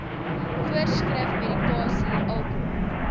voorskrif medikasie alkohol